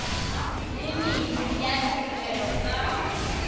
le mene ya ditirelo tsa